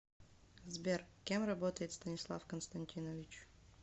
сбер кем работает станислав константинович